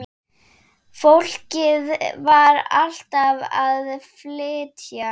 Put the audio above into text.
Fólkið var alltaf að flytja.